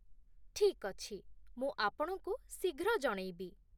ଠିକ୍ ଅଛି, ମୁଁ ଆପଣଙ୍କୁ ଶୀଘ୍ର ଜଣେଇବି।